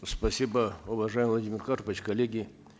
спасибо уважаемый владимир карпович коллеги